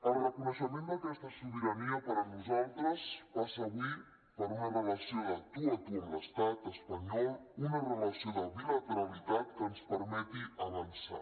el reconeixement d’aquesta sobirania per nosaltres passa avui per una relació de tu a tu amb l’estat espanyol una relació de bilateralitat que ens permeti avançar